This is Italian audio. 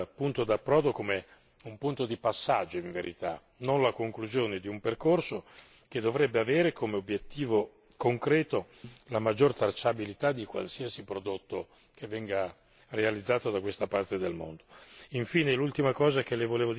Voglio però considerare questo punto d'approdo come un punto di passaggio in verità e non la conclusione di un percorso che dovrebbe avere come obiettivo concreto la maggiore tracciabilità di qualsiasi prodotto realizzato in questa parte del mondo.